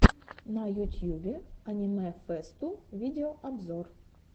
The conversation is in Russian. на ютьюбе аниме фэсту видеообзор